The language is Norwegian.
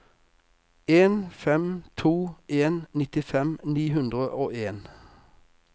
en fem to en nittifem ni hundre og en